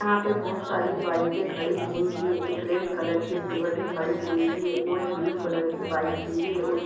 यहां पे बहुत सारी बाइके खड़ी हुई हैं एक रेड कलर के और एक ब्लू कलर की बाइक भी हैऔर उस---